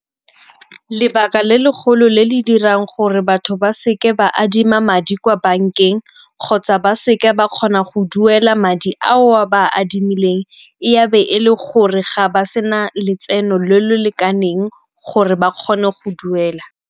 Lebaka le le golo le le dirang gore batho ba seke ba adima madi kwa bankeng kgotsa ba seke ba kgona go duela madi ao ba a adimileng e be e le gore ga ba sena letseno le le lekaneng gore ba kgone go duela.